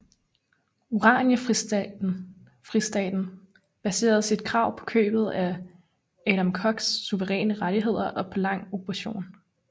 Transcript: Oranjefristaten baserede sit krav på købet af Adam Koks suveræne rettigheder og på lang okkupation